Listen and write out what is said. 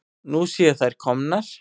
Nú séu þær komnar.